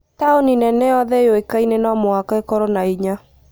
Taũni nene yothe yũĩkaine no mũhaka ĩkorwo na hinya